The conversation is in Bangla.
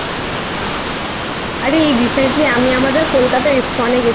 আরে এই Recently আমি আমাদের কলকাতা ISKCON